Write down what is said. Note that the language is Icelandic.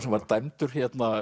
sem var dæmdur